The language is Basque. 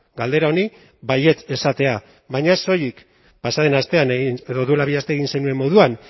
galdera honi baietz esatea baina ez soilik pasa den astean egin edo duela bi aste egin zenuen moduan